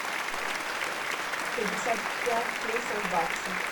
пятьдесят пять песо в баксах